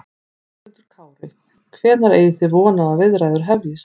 Höskuldur Kári: Hvenær eigi þið von á því að viðræður hefjist?